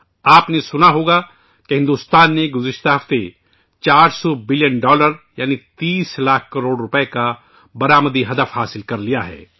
آپ نے سنا ہوگا کہ بھارت نے گزشتہ ہفتے 400 بلین ڈالر یعنی 30 لاکھ کروڑ روپئے کا برآمدات کا ہدف حاصل کیا ہے